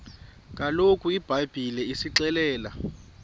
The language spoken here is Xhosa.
kaloku ibhayibhile isixelela